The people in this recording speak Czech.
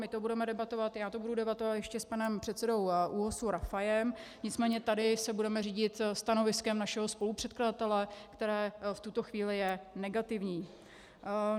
My to budeme debatovat, já to budu debatovat ještě s panem předsedou ÚOHS Rafajem, nicméně tady se budeme řídit stanoviskem našeho spolupředkladatele, které v tuto chvíli je negativní.